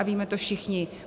A víme to všichni.